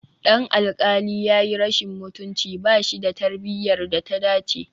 Dan alƙali ya yi rashin mutunci, ba shi da tarbiyyar da ta dace